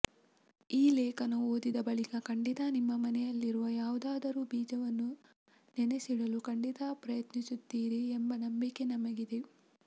ಈ ಲೇಖನ ಓದಿದ ಬಳಿಕ ಖಂಡಿತಾ ನಿಮ್ಮ ಮನೆಯಲ್ಲಿರುವ ಯಾವುದಾದರೂ ಬೀಜವನ್ನು ನೆನೆಸಿಡಲು ಖಂಡಿತಾ ಪ್ರಯತ್ನಿಸುತ್ತೀರಿ ಎಂಬ ನಂಬಿಕೆ ನಮಗಿದೆ